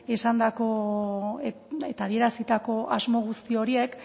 eta adierazitako asmo guzti horiek